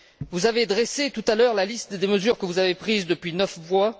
Vous avez dressé, tout à l'heure, la liste des mesures que vous avez prises depuis neuf mois.